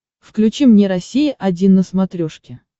включи мне россия один на смотрешке